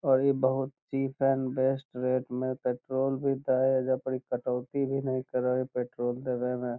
और इ बहुत ही चीफ एंड बेस्ट रेट में पेट्रोल भी देता है एइजा पड़ी इ कटौती भी न करे है पेट्रोल देवे में।